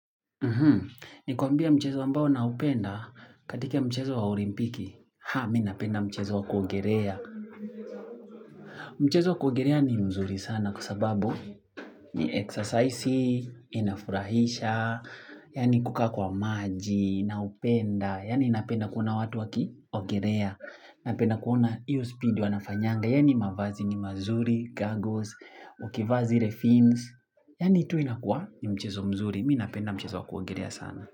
Nikuambie mchezo ambao naupenda katika mchezo wa olimpiki, haa mi napenda mchezo wa kuogelea. Mchezo wa kuogerea ni mzuri sana kwa sababu ni exercise, inafurahisha, yaani kukaa kwa maji, naupenda, yaani napenda kuona watu wakiogerea. Napenda kuona iyo speed wanafanyanga, yaani mavazi ni mazuri, goggles, ukivaa zile fins, yaani tu inakuwa ni mchezo mzuri, mi napenda mchezo wa kuogerea sana.